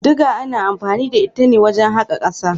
Diga ana anfani da ita ne wajen haƙa ƙasa.